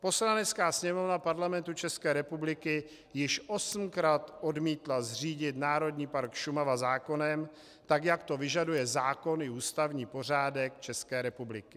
Poslanecká sněmovna Parlamentu České republiky již osmkrát odmítla zřídit Národní park Šumava zákonem, tak jak to vyžaduje zákon i ústavní pořádek České republiky.